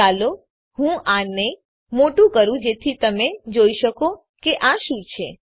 ચાલો હું આને મોટું કરું જેથી તમે જોઈ શકો કે આ શું છે